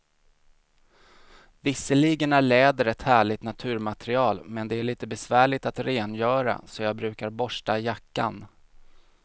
Visserligen är läder ett härligt naturmaterial, men det är lite besvärligt att rengöra, så jag brukar borsta jackan.